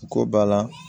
Ko ba la